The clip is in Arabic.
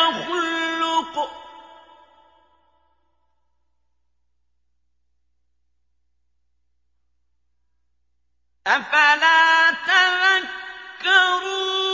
يَخْلُقُ ۗ أَفَلَا تَذَكَّرُونَ